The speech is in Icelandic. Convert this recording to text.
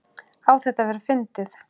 Á þetta að vera fyndið?